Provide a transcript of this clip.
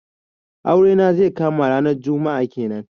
Aure na zai kama ranar juma'a kenan.